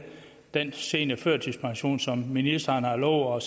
den seniorførtidspension som ministeren har lovet